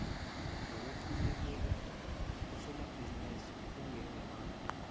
zokulekelela osomabhizinisi kungengemali